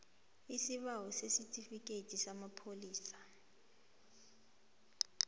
isibawo sesitifikhethi samapholisa